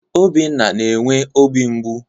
Obinna na-enwe obi mgbụ